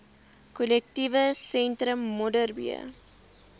korrektiewe sentrum modderbee